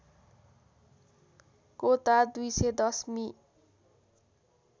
कोता २१० मि